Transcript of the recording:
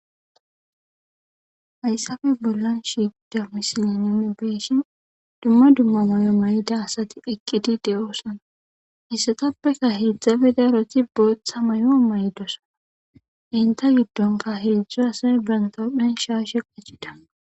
Hayisape bollan shiqida misiley nuni be'ishin duma duma mayo mayidi asati eqidosona hayisatapeka hezati botha mayo mayidosona enita gidonka hezu asaya banita huphen shashe qacida